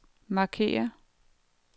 markér